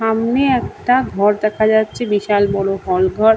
সামনে একটা ঘর দেখা যাচ্ছে। বিশাল বড় হল ঘর।